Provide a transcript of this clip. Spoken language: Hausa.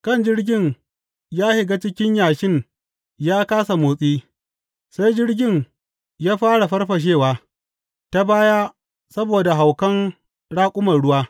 Kan jirgin ya shiga cikin yashin ya kāsa motsi, sai jirgin ya fara farfashewa ta baya saboda haukan raƙuman ruwa.